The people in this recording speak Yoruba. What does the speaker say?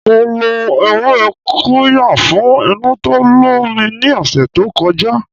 Mo lo ewé qirya fún inú tó ń lọ mi ní ọ̀sẹ̀ to koja